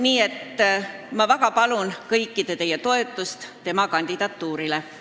Nii et ma väga palun teie kõigi toetust tema kandidatuurile.